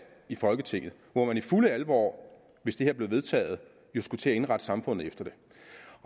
i folketinget hvor man i fuld alvor hvis det her blev vedtaget jo skulle til at indrette samfundet efter det